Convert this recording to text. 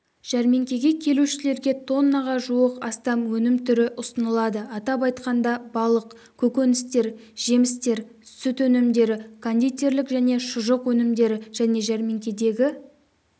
жәрмеңкеге келушілерге тоннаға жуық астам өнім түрі ұсынылады атап айтқанда балық көкөністер жемістер сүт өнімдері кондитерлік және шұжық өнімдері және жәрмеңкедегі